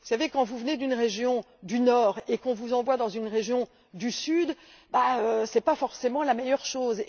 Mais vous savez que lorsque vous venez d'une région du nord et qu'on vous envoie dans une région du sud, ce n'est pas forcément la meilleure chose.